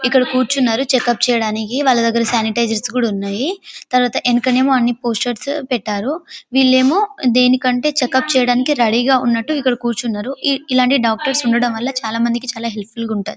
ఇక్కడ కూర్చున్నారు చెకప్ చెయ్యడానికి వాళ్ళ దగ్గర శానిటైజర్స్ కూడా ఉన్నాయి తరువాత ఎనకనేమో అన్ని పోస్టర్స్ పెట్టారు వీళ్ళేమో దేనికంటే చెకప్ చెయ్యడానికి రెడీ ఉన్నట్టు ఇక్కడ కూర్చున్నారుఇ- ఇలాంటి డాక్టర్స్ ఊడడం వల్ల చాలా మందికి చాలా హెల్ప్ఫుల్ గా ఉంటాది .